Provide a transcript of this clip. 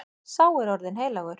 Sá er orðinn heilagur.